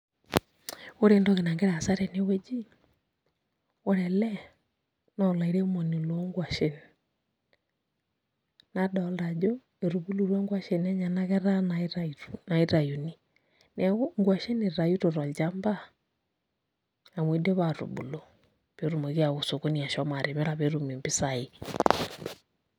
Ore entoki nagira aasa tenewueji naa ore ele naa olairemoni loomkuashen, nadolta ajo etubulutua nkuashen enyenak etaa inatayuni neeku nkuashen itayuto tolchamba amu idipa aatubulu pee etumoki aawa osokoni ashomo atimira pee etum mpisai.